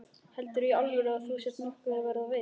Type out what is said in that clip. Heldurðu í alvöru að þú sért nokkuð að verða veik.